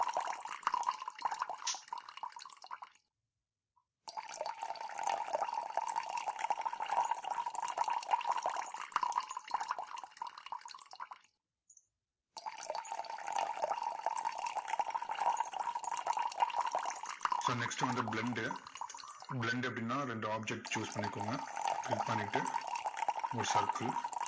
so next வந்து blend உ blend எப்படின்னா ரெண்டு object choose பண்ணிக்கோங்க. இது பண்ணிட்டு, ஒரு circle